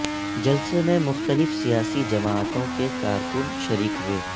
جلسے میں مختلف سیاسی جماعتوں کے کارکن شریک ہوئے